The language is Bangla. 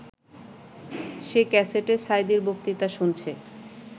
সে ক্যাসেটে সাঈদীর বক্তৃতা শুনছে